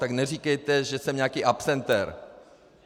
Tak neříkejte, že jsem nějaký absentér.